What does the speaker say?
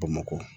Bamakɔ